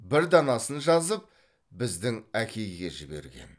бір данасын жазып біздің әкейге жіберген